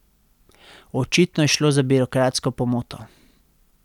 Očitno je šlo za birokratsko pomoto.